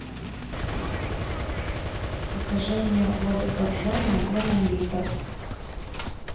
закажи мне воду боржоми объемом литр